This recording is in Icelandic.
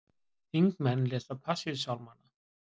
Þingmenn lesa Passíusálmanna